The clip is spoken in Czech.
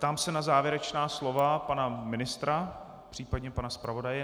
Ptám se na závěrečná slova pana ministra, případně pana zpravodaje.